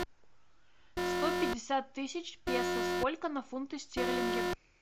сто пятьдесят тысяч песо сколько на фунты стерлинги